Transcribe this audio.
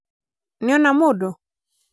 nĩona mũndũ?